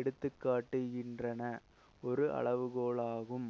எடுத்து காட்டுகின்றன ஓரு அளவுகோலாகும்